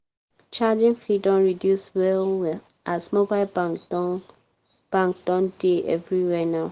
charging fee don reduce well-well as mobile bank don bank don dey everywhere now.